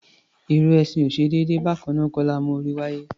Ìrù ẹṣin ò ṣe déédé; bákannáà kọ́ la mú orí wáyé.